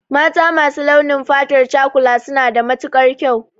Mata masu launin fatar cakula suna da matukar kyau